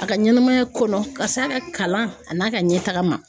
A ka ɲɛnɛmaya kɔnɔ ka s'a ka kalan a n'a ka ɲɛtaga ma.